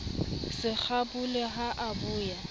se kgabole ha a boya